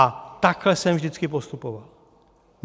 A takhle jsem vždycky postupoval.